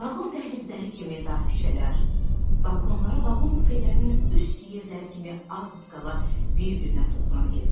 Vaqon dəhlizləri kimi dar küçələr, balkonları vaqon kupelərinin üst yerləri kimi az qala bir-birinə toxunan evlər.